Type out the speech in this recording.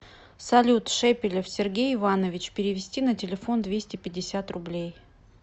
салют шепелев сергей иванович перевести на телефон двести пятьдесят рублей